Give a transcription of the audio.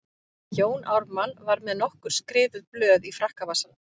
Jón Ármann var með nokkur skrifuð blöð í frakkavasanum.